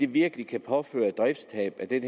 virkelig kan påføre et driftstab af den